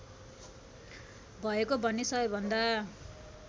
भएको भन्ने सबैभन्दा